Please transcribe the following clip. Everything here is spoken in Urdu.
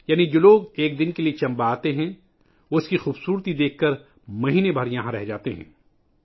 یعنی جو لوگ ایک دن کے لئے چمبہ آتے ہیں، وہ اس کی خوبصورتی کو دیکھ کر مہینے بھر کے لئے یہاں رک جاتے ہیں